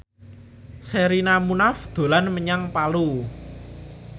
Sherina Munaf dolan menyang Palu